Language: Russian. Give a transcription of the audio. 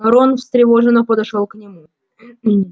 рон встревоженно подошёл к нему